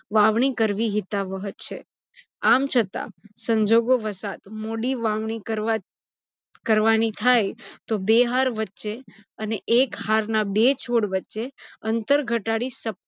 વાવણી કરવી હિતાવહ છે. આમ છતા સંજોગો વસાત મોડી વાવણી કરવાની થાય તો બે હાર વચ્ચે અને એક હાર ના બે છોડ વચ્ચે અંતર ઘટાડી